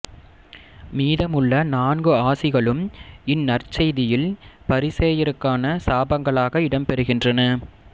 மீதம் உள்ள நான்கு ஆசிகளும் இன் நற்செய்தியில் பரிசேயருக்கான சாபங்களாக இடம்பெறுகின்றன